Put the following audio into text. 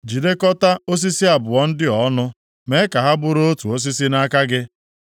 Jidekọtaa osisi abụọ ndị a ọnụ, mee ka ha bụrụ otu osisi nʼaka gị.